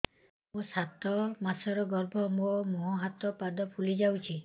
ମୋ ସାତ ମାସର ଗର୍ଭ ମୋ ମୁହଁ ହାତ ପାଦ ଫୁଲି ଯାଉଛି